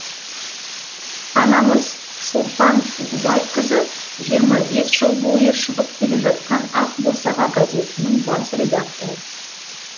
анамыз шолпан ұғыбайқызы жиырма бес жыл бойы шығып келе жатқан ақ босаға газетінің бас редакторы